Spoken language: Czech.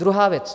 Druhá věc.